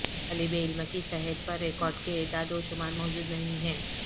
طالب علم کی صحت پر ریکارڈ کے اعداد و شمار موجود نہیں ہیں